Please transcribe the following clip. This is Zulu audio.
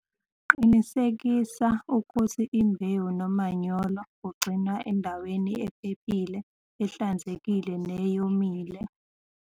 Qinisekisa ukuthi imbewu nomanyolo kugcinwa endaweni ephephile, ehlanzekile neyomile.